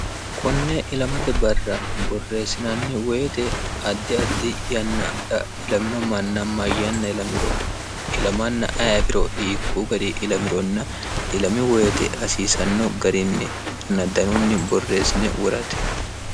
konne ilamate barra borresinanni woyiite addi addi yannara ilamino manna mayanna ilamiro ilamanna ayi afiro hikuu gari ilamironna ilami woyiite hasiisanno garinninna danunni boreesine worate